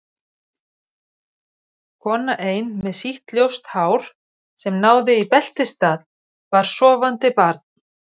Kona ein með sítt ljóst hár sem náði í beltisstað, bar sofandi barn.